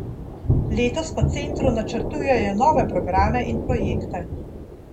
Letos v centru načrtujejo nove programe in projekte.